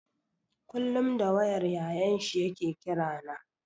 Kullum da wayar Yayan shi ya ke kira na.